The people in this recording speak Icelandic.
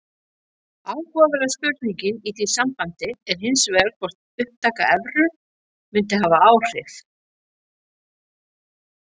Áhugaverða spurningin í því sambandi er hins vegar hvort upptaka evru mundi hafa áhrif.